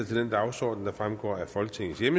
jeg